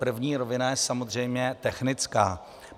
První rovina je samozřejmě technická.